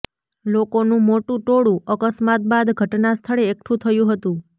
લોકોનું મોટું ટોળું અકસ્માત બાદ ઘટનાસ્થળે એકઠું થયું હતું